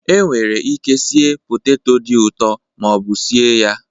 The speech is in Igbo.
Enwere ike sie poteto dị ụtọ ma ọ bụ sie ya